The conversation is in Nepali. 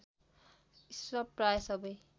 इसप प्रायः सबै